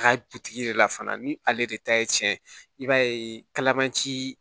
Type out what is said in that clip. A ka butigi de la fana ni ale de ta ye tiɲɛ ye i b'a ye kalaman ci